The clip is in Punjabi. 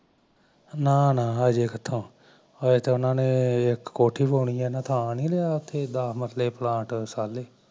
ਨਾ ਨਾ ਹਜੇ ਕਿਥੋ ਹਜੇ ਤਾਂ ਉਹਨਾ ਨੇ ਇੱਕ ਕੋਠੀ ਪਾਉਣੀ ਮਸਲੇ ਪਲਾਂਟ ਸਾਲੇ